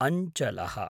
अञ्चलः